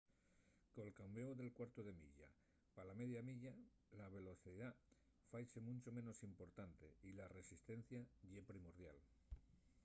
col cambéu del cuartu de milla pa la media milla la velocidá faise muncho menos importante y la resistencia ye primordial